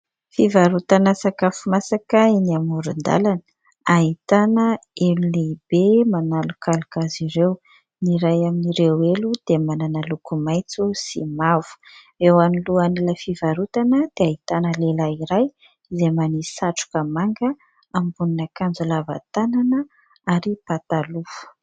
Fivarotana sakafo masaka eny amorondàlana. Ahitana, elo lehibe, manalokaloka azy ireo ; ny ray aminireo elo, dia manana loko maintso sy mavo. Eo alohan'ilay fivarotana, dia ahitana lehilahy ray, izay manisy satroka manga, ambonin'akanjo lava tanana, ary pataloha.